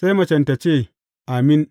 Sai macen tă ce, Amin.